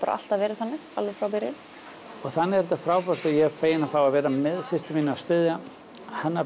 alltaf verið þannig alveg frá byrjun og þannig er þetta frábært og ég er feginn að fá að vera með systur minni og styðja hennar